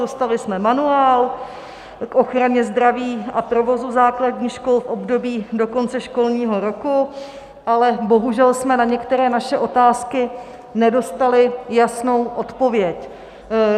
Dostali jsme manuál k ochraně zdraví a provozu základních škol v období do konce školního roku, ale bohužel jsme na některé své otázky nedostali jasnou odpověď.